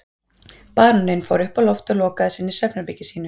Baróninn fór upp á loft og lokaði sig inni í svefnherbergi sínu.